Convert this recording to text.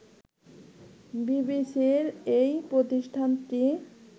বিবিসির এই প্রতিষ্ঠানটি